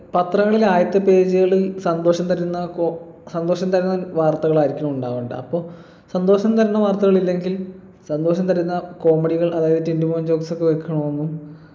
പത്രങ്ങളിൽ ആദ്യത്തെ page കളിൽ സന്തോഷം തരുന്ന ഇപ്പൊ സന്തോഷം തരുന്ന വാർത്തകൾ ആയിരിക്കണം ഉണ്ടാവണ്ടെ അപ്പൊ സന്തോഷം തരുന്ന വാർത്തകൾ ഇല്ലെങ്കിൽ സന്തോഷം തരുന്ന comedy കൾ അതായത് ടിൻറ്റുമോൻ jokes ഒക്കെ വെക്കണൊന്നും